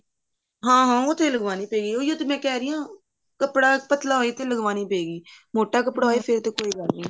ਹਾਂ ਹਾਂ ਉਹ ਤੇ ਲਗਵਾਉਣੀ ਪਵੇਗੀ ਉਹੀ ਤੇ ਮੈਂ ਕਹਿ ਰਹੀ ਹਾਂ ਕੱਪੜਾ ਪਤਲਾ ਹੋਵੇਗਾ ਤੇ ਲਗਵਾਉਣੀ ਪਵੇਗੀ ਮੋਟਾ ਕੱਪੜਾ ਹੋਵੇ ਫ਼ੇਰ ਤੇ ਕੋਈ ਗੱਲ ਨੀ